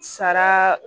Sara